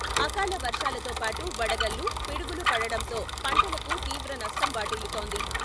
అకాల వర్షాలతో పాటు వడగల్లు, పిడుగులు పడడంతో పంటలకు తీవ్ర నష్టం వాటిల్లుతోంది.